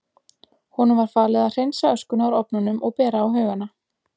Honum var falið að hreinsa öskuna úr ofnunum og bera á haugana.